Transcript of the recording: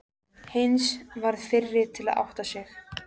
Heinz varð fyrri til að átta sig.